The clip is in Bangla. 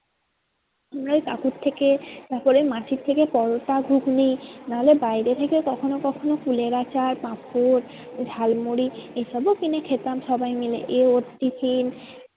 আমরা ওই কাকুর থেকে তারপরে ওই মাসির থেকে পরোটা ঘুগনি না হলে বাইরে থেকে কখনো কখনো কুলের আচার পাঁপড় ঝাল মুড়ি এই সবও কিনে খেতাম সবাই মিলে এ ওর tiffin